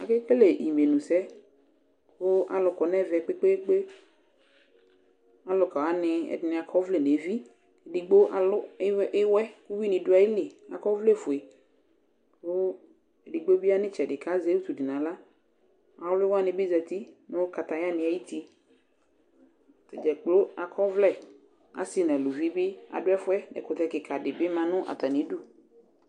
Akekele imenu sɛ, kʋ alu kɔ nʋ ɛmɛ kpekpekpe Aluka wani ɛdɩnɩ akɔ ɔvlɛ nʋ evi Edigbo alu ɩwɛ kʋ ʋyʋɩ ni du ayili Akɔ ɔvlɛfue, kʋ edigbo bɩ ya nʋ ɩtsɛdɩ, kʋ azɛ utu nʋ aɣla Awli wani bɩ zǝti nʋ kataya ni ayʋ uti Atadza kplo akɔ ɔvlɛ Asi nʋ uluvi bi du ɛfʋɛ, kʋ ɛkʋtɛ kika di bɩ ma nʋ atami idu